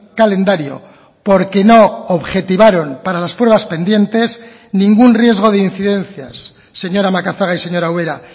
calendario porque no objetivaron para las pruebas pendientes ningún riesgo de incidencias señora macazaga y señora ubera